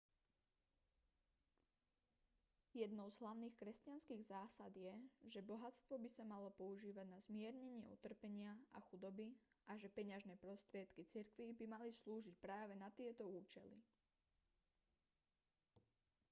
jednou z hlavných kresťanských zásad je že bohatstvo by sa malo používať na zmiernenie utrpenia a chudoby a že peňažné prostriedky cirkvi by mali slúžiť práve na tieto účely